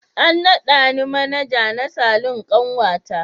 An nada ni Manaja na Salon kanwata.